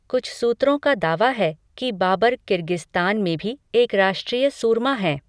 कुछ सूत्रों का दावा है कि बाबर किर्गिस्तान में भी एक राष्ट्रीय सूरमा हैं।